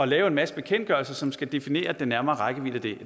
lave en masse bekendtgørelser som skal definere den nærmere rækkevidde af det